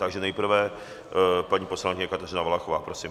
Takže nejprve paní poslankyně Kateřina Valachová, prosím.